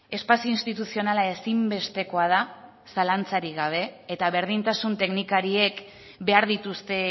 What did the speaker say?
espazio instituzionala ezinbestekoa da zalantzarik gabe eta berdintasun teknikariek behar dituzte